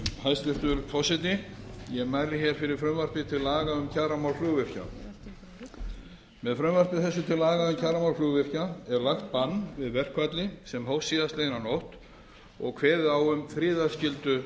hæstvirtur forseti ég mæli fyrir frumvarpi til laga um kjaramál flugvirkja með frumvarpi þessu til laga um kjaramál flugvirkja er lagt bann við verkfalli sem hófst síðastliðinn nótt og kveðið á um friðarskyldu